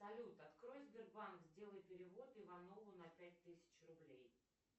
салют открой сбербанк сделай перевод иванову на пять тысяч рублей